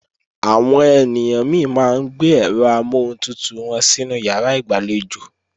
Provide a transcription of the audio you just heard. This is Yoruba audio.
Àwọn ènìyàn mi máa ń gbé ẹ̀rọ amọ́huntutù wọn sínú ìyàrá ìgbàlejò